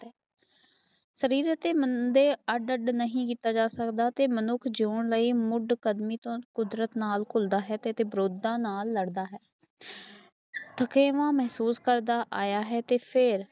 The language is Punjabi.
ਸ਼ਰੀਰ ਅੱਤੇ ਮੰਦੇ ਅਡ ਅਡ ਨਹੀਂ ਕੀਤਾ ਜਾ ਸੱਕਦਾ ਅੱਤੇ ਮਨੁੱਖ ਜਿਉਣ ਲਈ ਮੁੱਢ ਸਦੀਆਂ ਤੋਂ ਕੁਦਰਤ ਨਾਲ ਕੁਲਦਾ ਹੈ ਅੱਤੇ ਵਿਰੋਤਤਾ ਨਾਲ ਲੜਦਾ ਹੈ ਤਦੇਵ ਮਨਜੋਤ ਸਰ ਦਾ ਆਇਆ ਹੈ